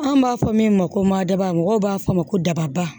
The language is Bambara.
An b'a fɔ min ma ko madaba mɔgɔw b'a fɔ ma ko daba